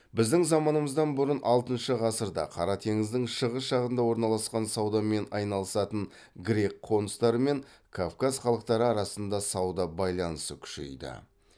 біздің заманымыздан бұрын алтынша ғасырда қара теңіздің шығыс жағында орналасқан саудамен айналысатын грек қоныстары мен кавказ халықтары арасында сауда байланысы күшейді